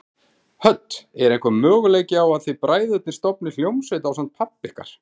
Hödd: Er einhver möguleiki á að þið bræðurnir stofnið hljómsveit ásamt pabba ykkar?